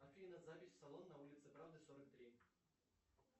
афина запись в салон на улице правды сорок три